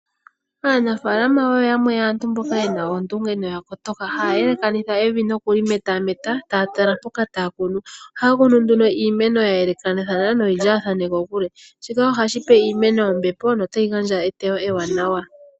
Aanafaalama oyo yamwe yomaantu ye na oondunge noya kotoka. Haya elekanitha evi nokuli metameta, taya tala mpoka taya kunu. Ohaya kunu nduno uumeno ya yelekathana noyi li kokule. Shika otashi ya pe ombepo noku gandja eteyo ewanawa.